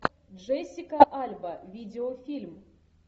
джессика альба видеофильм